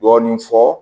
Dɔɔnin fɔ